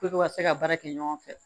ka se ka baara kɛ ɲɔgɔn fɛ